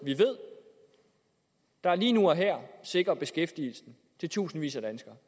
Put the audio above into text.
lige nu og her sikrer beskæftigelsen til tusindvis af danskere